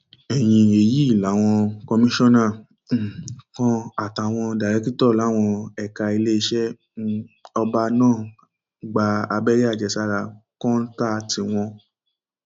ẹyìn èyí làwọn kọmíṣánná um kan àtàwọn dàrékìtọ láwọn ẹka iléeṣẹ um ọba náà gba abẹrẹ àjẹsára kọńtà tiwọn